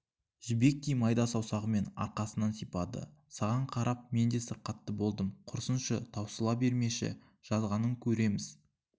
жібектей майда саусағымен арқасынан сипады саған қарап мен де сырқатты болдым құрсыншы таусыла бермеші жазғанын көрерміз